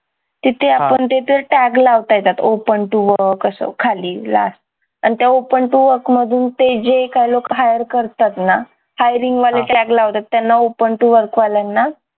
तिथे आपण ते तर tag लावता येतात open to work असं खाली last आणि त्या open to work मधून ते जे काय लोक hire करतात ना hiring वाले tag लावतात त्यांना open to work वाल्याना